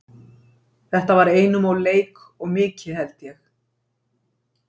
Þetta var einum leik of mikið held ég.